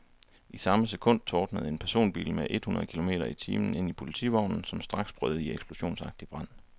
I samme sekund tordnede en personbil med et hundrede kilometer i timen ind i politivognen, som straks brød i eksplosionsagtig brand.